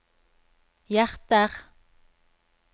hjerter